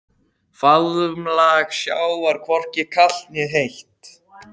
Faðmlag sjávar hvorki kalt né heitt.